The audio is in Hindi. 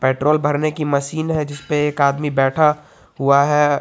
पेट्रोल भरने की मशीन है जिस पे एक आदमी बैठा हुआ है।